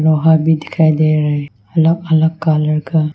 दो हार भी दिखाई दे रहा है अलग अलग कलर का।